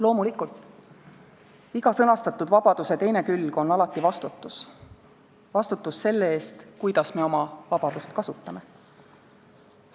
Loomulikult, iga sõnastatud vabaduse teine külg on alati vastutus – vastutus selle eest, kuidas me oma vabadust kasutame.